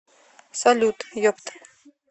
салют епт